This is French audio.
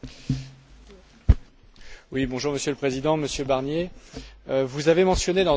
Monsieur le Président, Monsieur Barnier, vous avez mentionné dans votre intervention le rapport de M.